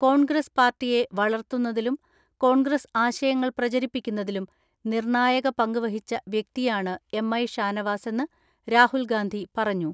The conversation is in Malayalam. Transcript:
കോൺഗ്രസ് പാർട്ടിയെ വളർത്തുന്നതിലും കോൺഗ്രസ് ആശയങ്ങൾ പ്രചരിപ്പിക്കുന്നതിലും നിർണായക പങ്ക് വഹിച്ച വ്യക്തിയാണ് എം.ഐ ഷാനവാസെന്ന് രാഹുൽ ഗാന്ധി പറഞ്ഞു.